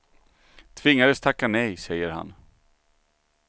Tvingades tacka nej, säger han.